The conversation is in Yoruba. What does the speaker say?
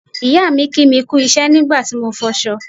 ìyáà mi kí mi kú iṣẹ́ nígbà tí mo ń fọṣọ